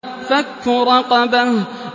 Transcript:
فَكُّ رَقَبَةٍ